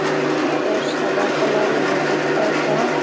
আর একটা সাদা কালার -এর মন্দিরটার রঙ।